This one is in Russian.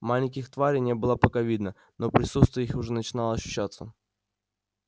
маленьких тварей не было пока видно но присутствие их уже начинало ощущаться